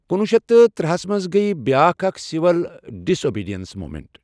کُنوُہ شٮ۪تھ تہٕ ترٕٛہَس منٚز گٔیۍ بیٛاکھ اکھ سِول ڈِس اوبیڑِینٕس مومینٹ۔